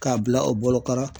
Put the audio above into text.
K'a bila o bolo kɔrɔ